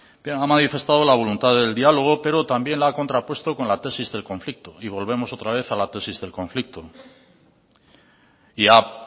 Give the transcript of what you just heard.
bien ha manifestado la voluntad del diálogo pero también la ha contrapuesto con la tesis del conflicto y volvemos otra vez a la tesis del conflicto y ha